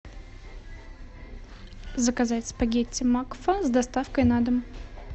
заказать спагетти макфа с доставкой на дом